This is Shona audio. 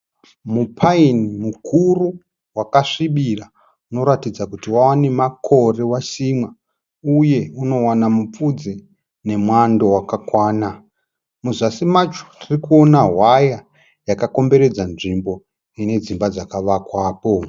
Mupaini mukuru wakasvibira unoratidza kuti wava nemakore wasimwa uye unowana mupfudze nemwando wakakwana. Muzasi macho tirikuona hwaya yakakomberedza nzvimbo ine dzimba dzakavakwapo.